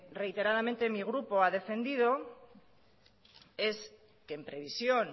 reiteradamente mi grupo ha defendido es que en previsión